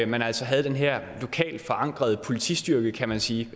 man altså havde den her lokalt forankrede politistyrke kan man sige